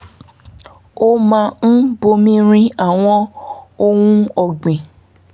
ó máa ń bomi rin àwọn ohun ọ̀gbìn